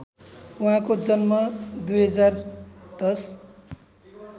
उहाँको जन्म २०१०